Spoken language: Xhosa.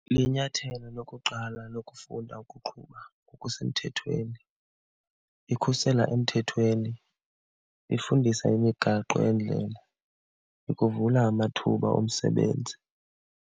Linyathelo lokuqala lokufunda ukuqhuba ngokusemthethweni. Ikhusela emthethweni, ifundisa imigaqo yendlela, ikuvula amathuba omsebenzi.